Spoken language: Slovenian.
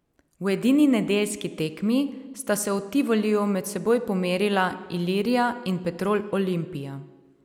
V edini nedeljski tekmi sta se v Tivoliju med seboj pomerila Ilirija in Petrol Olimpija.